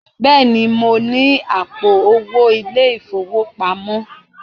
Bẹ́ẹ̀ni, mo ní àpò owó ilé-ìfowópamọ́